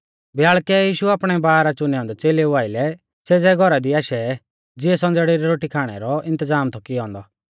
ब्याल़कै यीशु आपणै बारह चुनै औन्दै च़ेलेऊ आइलै सेज़ै घौरा दी आशै ज़िऐ संज़ेड़ै री रोटी खाणै रौ इन्तज़ाम थौ कियौ औन्दौ